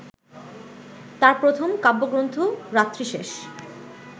তার প্রথম কাব্যগ্রন্থ রাত্রিশেষ